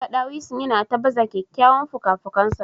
Naga dawisun yana ta baza kyawawan fukafukansa.